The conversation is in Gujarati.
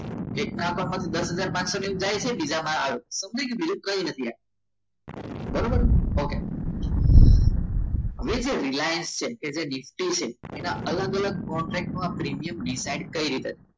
એકમાં પણ દસ હજાર પાચસો જાય છે અને બીજા માં આવે છે બીજું કંઈ નથી બરોબર okay હવે જે રિલાયન્સ છે એટલે કે નીફ્ટી છે એના અલગ અલગ કોન્ટેકમાં પ્રીમિયમ decide કઈ રીતે